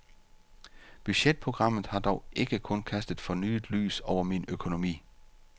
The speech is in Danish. Budgetprogrammet har dog ikke kun kastet fornyet lys over min økonomi.